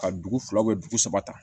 Ka dugu fila dugu saba ta